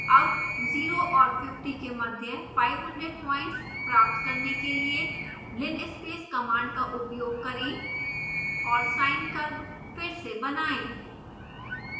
अब 0 और 50 के मध्य 500 प्वाइंट्स प्राप्त करने के लिए linspace कमांड का उपयोग करें और sine curve फिर से बनाएं